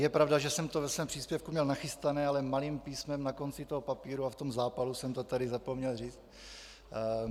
Je pravda, že jsem to ve svém příspěvku měl nachystané, ale malým písmem na konci toho papíru a v tom zápalu jsem to tady zapomněl říct.